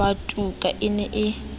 wa tuka e ne e